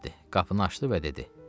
Qapını açdı və dedi: